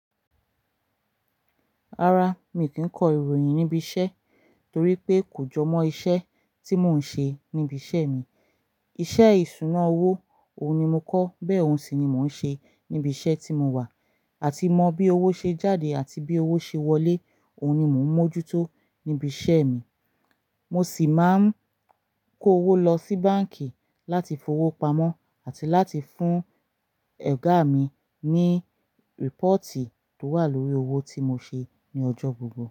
Rárá, mi kì í kọ ìròyìn níbi iṣẹ́ torí pé kò jọ mọ́ iṣẹ́ tí mò ń ṣe níbi iṣẹ́ mi. Iṣẹ́ ìṣúná owó, òun ni mo kọ́, bẹ́ẹ̀ oun sì ni mò ń ṣe níbi iṣẹ́ tí mo wà. Àti mọ bí owó ṣe jáde àti bí owó ṣe wọlé, òun ni mò ń mójútó níbi iṣẹ́ mi. Mo sì máa ń kó owó lọ sí báǹkì láti fowó pamọ́ àti láti fún ẹ̀gá mi ní rípọ̀tì tó wà lórí owó tí mo ṣe ní ọjọ́ gbogbo.